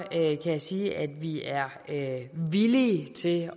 kan jeg sige at vi er villige til